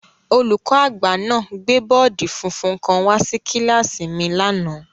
Olùkọ́-agba náà gbé bọọdi funfun kan wá sí kíláàsì mi lánàá.